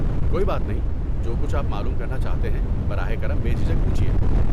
کوئی بات نہیں، جو کچھ آپ معلوم کرنا چاہتے ہیں براہ کرم بے جھجک پوچھیے۔